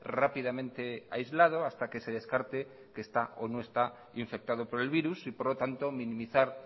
rápidamente aislado hasta que se descarte que está o no está infectado por el virus y por lo tanto minimizar